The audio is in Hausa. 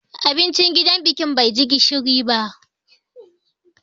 Abincin gidan bikin bai ji gishiri ba.